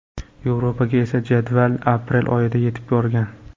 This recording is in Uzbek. Yevropaga esa jadval aprel oyida yetib borgan.